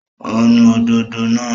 Ó ń nu òdòdó náà